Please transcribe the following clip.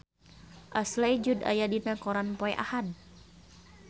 Ashley Judd aya dina koran poe Ahad